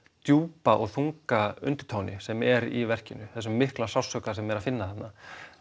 djúpa og þunga undirtóni sem er í verkinu þessum mikla sársauka sem er að finna þarna